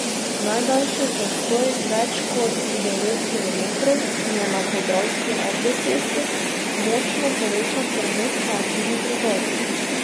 Najdaljši zastoj, več kot devet kilometrov, je na podravski avtocesti, močno povečan promet pa je tudi drugod.